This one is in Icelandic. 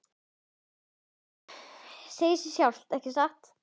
Segir sig sjálft, ekki satt?